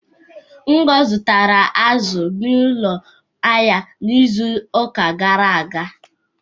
Ngo zụtara azụ n'ụlọ ahịa ahịa izu ụka gara aga.